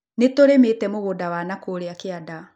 Nĩ tũrĩmĩte mũgũnda wa na kũrĩa kĩanda